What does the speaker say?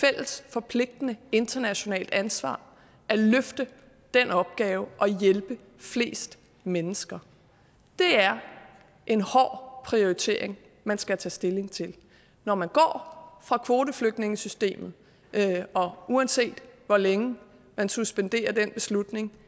fælles forpligtende internationalt ansvar at løfte den opgave det at hjælpe flest mennesker det er en hård prioritering man skal tage stilling til når man går fra kvoteflygtningesystemet og uanset hvor længe man suspenderer den beslutning